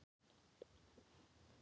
Reykjanesið vann Landið